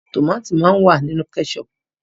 Tòmati máa ń wà nínú kẹ́ṣọ̀pù.